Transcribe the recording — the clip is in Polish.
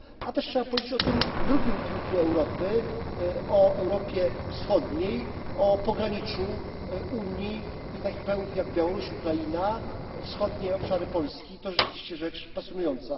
Trzeba też powiedzieć o tym drugim płucu Europy, o Europie Wschodniej, o pograniczu Unii i takich krajów jak Białoruś, Ukraina, wschodnie obszary Polski to rzeczywiście rzecz pasjonująca.